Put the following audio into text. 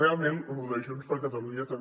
realment lo de junts per catalunya també